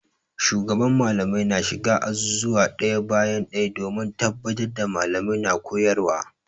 Shugaban Mallamai na shiga azuzuwa ɗaya bayan ɗaya domin tabbatar da Mallamai na koyarwa.